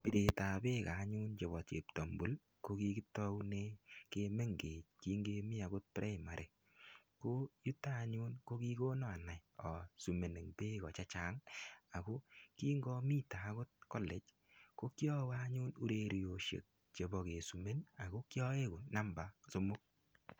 Piret ab beek anyun chebo cheptambul ko kikitaune kimengech kingemi agot primary. Ko yuto anyun ko kikona anai aswimen beeko chechang ago kingamite agot college ko kiawe anyun ureriosiek chebo keswimen ago kiaegu anyun namba somok.